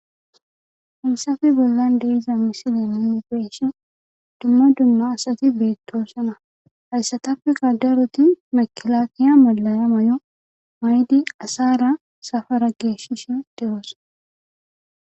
Haysafe bollan de'iza misile inigeshon dumma dunna asati beettoosana hayssatapfi gadaroti makilaakiya mollaya may7o maydi asara safara geeshishin deyoos